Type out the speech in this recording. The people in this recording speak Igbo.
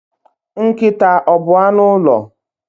Nkịta ọ bu anụ ụlọ?